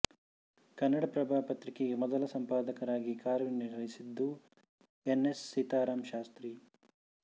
ಕನ್ನಡಪ್ರಭ ಪತ್ರಿಕೆಗೆ ಮೊದಲು ಸಂಪಾದಕರಾಗಿ ಕಾರ್ಯನಿರ್ವಹಿಸಿದ್ದು ಎನ್ ಎಸ್ ಸೀತಾರಾಮ ಶಾಸ್ತ್ರಿ